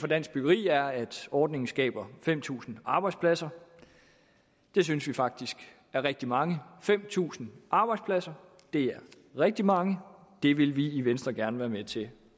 dansk byggeri er at ordningen skaber fem tusind arbejdspladser det synes vi faktisk er rigtig mange fem tusind arbejdspladser er rigtig mange og det vil vi i venstre gerne være med til